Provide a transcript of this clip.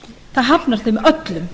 það hafnar þeim öllum